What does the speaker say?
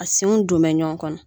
A senw don bɛ ɲɔgɔn kɔnɔ